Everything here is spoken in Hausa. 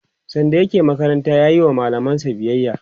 sanda yake makaranta yayi wa mallamansa biyaya